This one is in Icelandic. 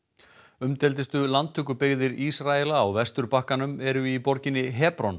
umdeildustu landtökubyggðir Ísraela á Vesturbakkanum eru í borginni